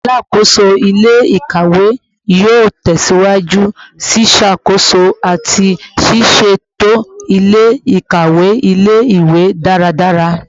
Alakoso ile-ikawe yoo tẹsiwaju ṣiṣakoso ati siseto ile-ikawe ile-iwe daradara